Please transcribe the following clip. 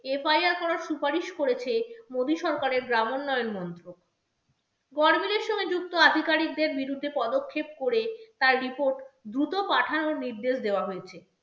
FIR করার সুপারিশ করেছে মোদী সরকারের গ্রাম উন্নয়ন মন্ত্র গরমিলের সঙ্গে যুক্ত আধিকারিকদের বিরুদ্ধে পদক্ষেপ করে তার report দ্রুত পাঠানোর নির্দেশ দেওয়া হয়েছে।